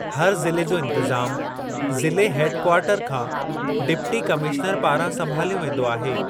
हर ज़िले जो इंतिज़ामु ज़िले हेड कवार्टर खां डिप्टी कमिशनरु पारां संभालियो वेंदो आहे।